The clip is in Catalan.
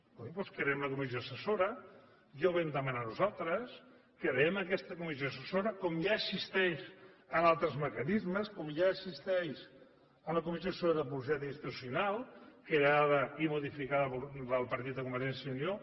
coi doncs creem la comissió assessora ja ho vam demanar nosaltres creem aquesta comissió assessora com ja existeix en altres mecanismes com ja existeix la comissió assessora sobre la publicitat institucional creada i modificada pel partit de convergència i unió